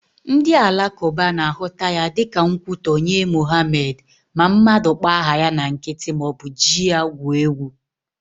Ndị alakụba na-ahụta ya dịka nkwutọ nye Mohamed ma mmadụ kpọọ aha ya na nkịtị maọbụ ji ya gwuo egwu